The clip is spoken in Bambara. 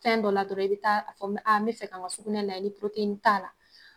Fɛn dɔ la dɔrɔn i bɛ taa a fɔ me me fɛ ka n ka sugunɛ lajɛ ni t'a la.